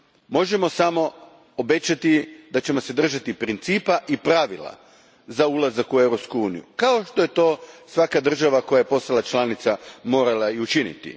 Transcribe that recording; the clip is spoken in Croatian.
Možemo samo obećati da ćemo se držati principa i pravila za ulazak u Europsku uniju, kao što je to svaka država koja je postala članica morala i učiniti.